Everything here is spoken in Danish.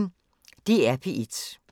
DR P1